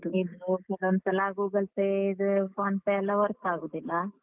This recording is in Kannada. ಈಗ ಕೆಲವೊಂದ್ಸಲ Google Pay ಇದು PhonePe ಎಲ್ಲ work ಆಗುದಿಲ್ಲ.